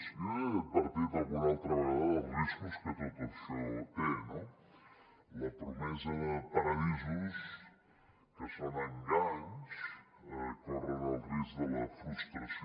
jo ja he advertit alguna altra vegada dels riscos que tot això té no la promesa de paradisos que són enganys corren el risc de la frustració